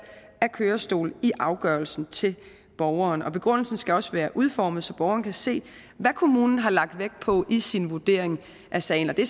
af kørestol i afgørelsen til borgeren og begrundelsen skal også være udformet så borgeren kan se hvad kommunen har lagt vægt på i sin vurdering af sagen det